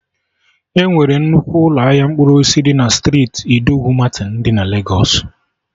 Enwere nnukwu ụlọ ahịa mkpụrụ osisi dị na striiti Idowu Martin dị na Legos